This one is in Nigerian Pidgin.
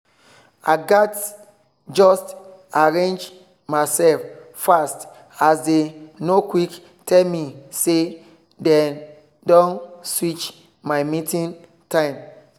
i gatz just arrange myself fast as they no quick tell me say dey don switch my meeting time